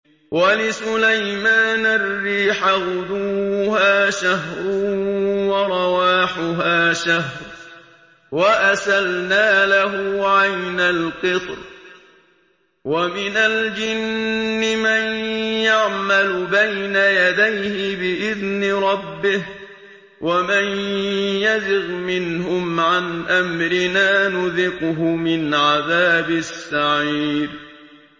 وَلِسُلَيْمَانَ الرِّيحَ غُدُوُّهَا شَهْرٌ وَرَوَاحُهَا شَهْرٌ ۖ وَأَسَلْنَا لَهُ عَيْنَ الْقِطْرِ ۖ وَمِنَ الْجِنِّ مَن يَعْمَلُ بَيْنَ يَدَيْهِ بِإِذْنِ رَبِّهِ ۖ وَمَن يَزِغْ مِنْهُمْ عَنْ أَمْرِنَا نُذِقْهُ مِنْ عَذَابِ السَّعِيرِ